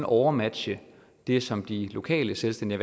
overmatche det som de lokale selvstændigt